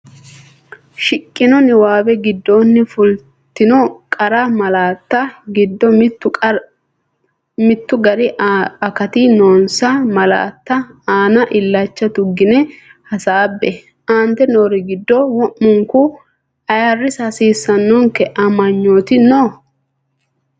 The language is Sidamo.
Shiqqino niwaawe giddonni fultino qara malaatta giddo mittu gari akati noonsa malaatta aana illacha tuggine hasaabbe, Aante noori giddo wo’munku ayirrisa hasiisannonke amanyooti noo?